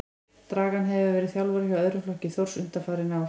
Dragan hefur verið þjálfari hjá öðrum flokki Þórs undanfarin ár.